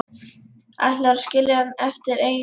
Ætlarðu að skilja hann eftir einan heima?